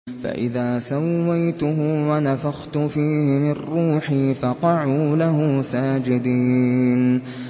فَإِذَا سَوَّيْتُهُ وَنَفَخْتُ فِيهِ مِن رُّوحِي فَقَعُوا لَهُ سَاجِدِينَ